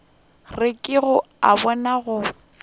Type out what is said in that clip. re ke a bona go